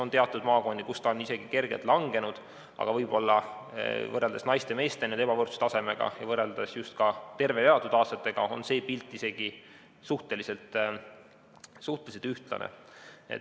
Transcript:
On teatud maakondi, kus see on isegi kergelt langenud, aga võib-olla võrreldes naiste ja meeste ebavõrdse tasemega ja võrreldes just ka tervena elatud aastate seisuga on see pilt suhteliselt ühtlane.